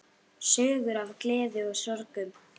Sögur af gleði og sorgum.